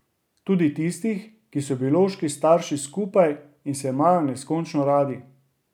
Tudi tistih, kjer so biološki starši skupaj in se imajo neskončno radi!